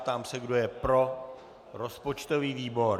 Ptám se, kdo je pro rozpočtový výbor.